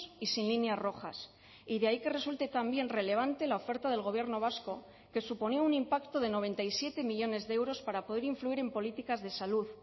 y sin líneas rojas y de ahí que resulte también relevante la oferta del gobierno vasco que suponía un impacto de noventa y siete millónes de euros para poder influir en políticas de salud